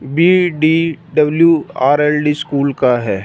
B D W R L D school का है।